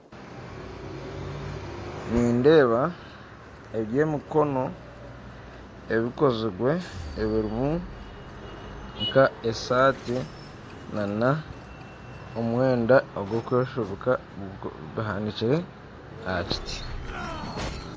Nindeeba eby'emikono ebikozirwe ebirimu nk'esaati nana omwenda ogw'okwefubika bihanikire ahakiti.